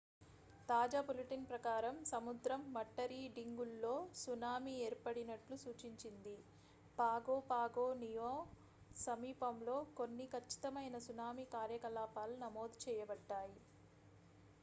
తాజా బులెటిన్ ప్రకారం సముద్ర మట్టరీడింగుల్లో సునామీ ఏర్పడినట్లు సూచించింది పాగో పాగో నియూ సమీపంలో కొన్ని ఖచ్చితమైన సునామీ కార్యకలాపాలు నమోదు చేయబడ్డాయి